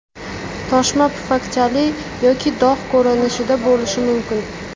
Toshma pufakchali yoki dog‘ ko‘rinishida bo‘lishi mumkin.